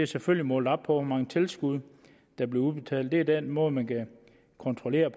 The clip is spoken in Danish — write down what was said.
selvfølgelig målt op på hvor mange tilskud der bliver udbetalt det er den måde man kan kontrollere